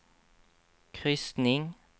kryssning